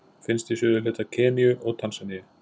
Finnst í suðurhluta Keníu og Tansaníu.